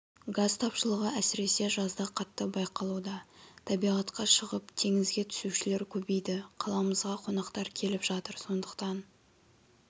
газ тапшылығы әсіресе жазда қатты байқалуда табиғатқа шығып теңізге түсушілер көбейді қаламызға қонақтар келіп жатыр сондықтан